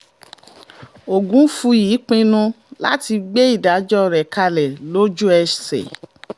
ogunfúyí pinnu láti gbé ìdájọ́ rẹ̀ kalẹ̀ lójú-ẹsẹ̀